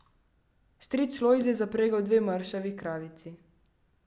Stric Lojze je zapregel dve mršavi kravici.